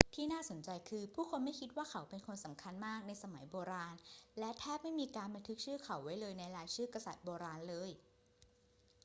ที่น่าสนใจคือ ผู้คนไม่คิดว่าเขาเป็นคนสำคัญมากในสมัยโบราณ และแทบไม่มีการบันทึกชื่อเขาไว้ในรายชื่อกษัตริย์โบราณเลย